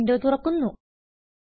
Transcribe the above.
G mail window തുറക്കുന്നു